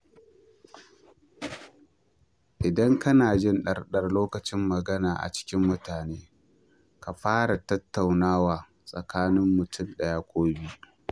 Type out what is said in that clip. Idan kana jin ɗarɗar lokacin magana da cikin mutane, ka fara da tattaunawa tsakanin mutum ɗaya ki biyu.